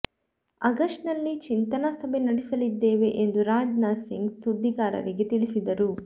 August ನಲ್ಲಿ ಚಿಂತನಾ ಸಭೆ ನಡೆಸಲಿದ್ದೇವೆ ಎಂದು ರಾಜ್ ನಾಥ್ ಸಿಂಗ್ ಸುದ್ದಿಗಾರರಿಗೆ ತಿಳಿಸಿದರು